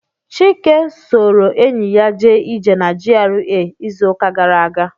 Chike soro enyi ya jee ije na GRA izu uka gara aga.